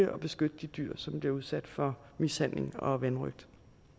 beskytte de dyr som bliver udsat for mishandling og vanrøgt